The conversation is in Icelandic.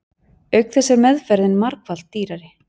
Auk þess er meðferðin margfalt dýrari.